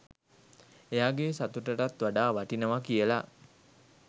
එයාගෙ සතුටටත් වඩා වටිනවා කියලා.